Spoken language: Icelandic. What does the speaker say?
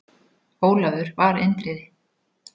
Ólafur var Indriði.